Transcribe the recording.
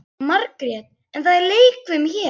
Margrét: En það er leikfimi hér.